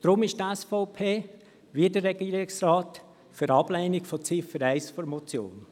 Darum ist die SVP, wie der Regierungsrat, für eine Ablehnung von Ziffer 1 der Motion.